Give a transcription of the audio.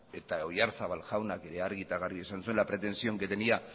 eta oyazarbal jaunak ere argi eta garbi esan zuen la pretensión que tenía